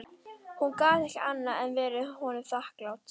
Hún gat ekki annað en verið honum þakklát.